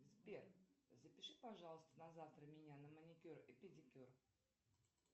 сбер запиши пожалуйста на завтра меня на маникюр и педикюр